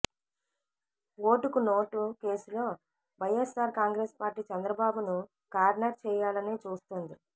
ఓటుకు నోటు కేసులో వైయస్సార్ కాంగ్రెస్ పార్టీ చంద్రబాబును కార్నర్ చేయాలని చూస్తోంది